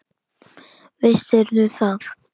Vissirðu það?